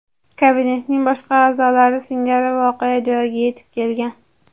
kabinetning boshqa a’zolari singari voqea joyiga yetib kelgan.